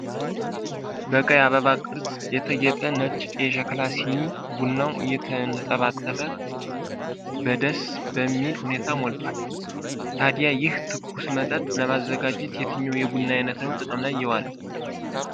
በቀይ አበባ ቅርፅ የተጌጠ ነጭ የሸክላ ሲኒ ቡናው እየተንጠባጠበ በደስ በሚል ሁኔታ ሞልቷል። ታዲያ ይህን ትኩስ መጠጥ ለማዘጋጀት የትኛው የቡና ዓይነት ነው ጥቅም ላይ የዋለው?